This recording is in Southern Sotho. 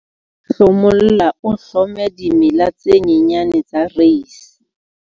Hlomolla o hlome dimela tse nyenyane tsa reise.